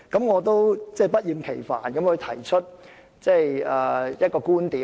我必須不厭其煩地提出一個觀點。